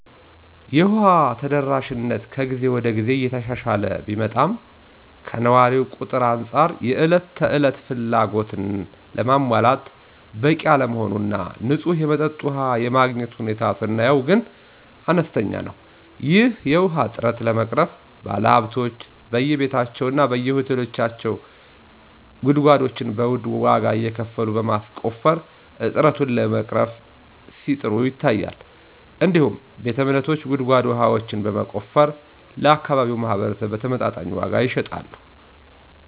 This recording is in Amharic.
የውሃ ተደራሽነት ከግዜ ወደ ግዜ እየተሻሻለ ቢመጣም ከነዋሪው ቁጥር አንፃር የእለት ተለት ፍላጎትን ለማሟላት በቂ አለመሆን እና ንፁህ የመጠጥ ውሃ የማግኘት ሁኔታ ስናየው ግን አነስተኛ ነው። ይህን የውሃ እጥረት ለመቅረፍ ባለሀብቶች በየቤታቸው እና በየሆቴሎቻቸው ጉድጓዶችን በዉድ ዋጋ እየከፈሉ በማስቆፈር እጥረቱን ለመቅረፍ ሲጥሩ ይታያል። እንዲሁም ቤተ እምነቶች ጉድጓድ ውሃዎችን በማስቆፈር ለአካባቢው ማህበረስብ በተመጣጣኝ ዋጋ ይሸጣሉ።